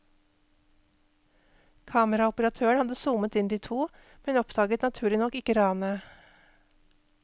Kameraoperatøren hadde zoomet inn de to, men oppdaget naturlig nok ikke ranet.